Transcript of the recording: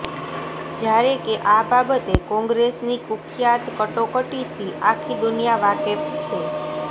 જ્યારે કે આ બાબતે કોંગ્રેસની કુખ્યાત કટોકટીથી આખી દુનિયા વાકેફ છે